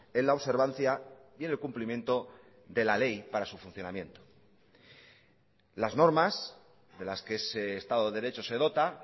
en la observancia y en el cumplimiento de la ley para su funcionamiento las normas de las que ese estado de derecho se dota